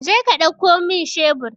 Jeka ɗauko min shebur!